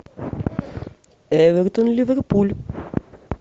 эвертон ливерпуль